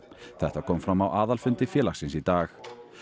þetta kom fram á aðalfundi félagsins í dag